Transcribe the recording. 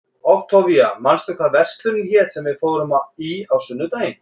Októvía, manstu hvað verslunin hét sem við fórum í á sunnudaginn?